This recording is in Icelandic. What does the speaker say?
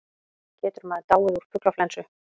Getur maður dáið úr fuglaflensu?